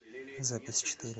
запись четыре